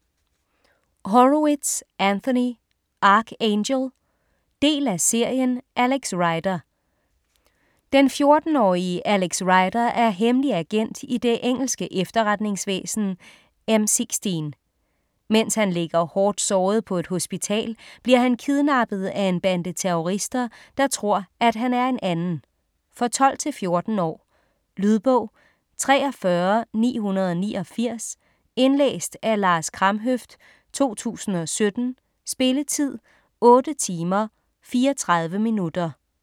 Horowitz, Anthony: Ark Angel Del af serien Alex Rider. Den 14-årige Alex Rider er hemmelig agent i det engelske efterretningsvæsen M16. Mens han ligger hårdt såret på et hospital bliver han kidnappet af en bande terrorister, der tror, at han er en anden. For 12-14 år. Lydbog 43989 Indlæst af Lars Kramhøft, 2017. Spilletid: 8 timer, 34 minutter.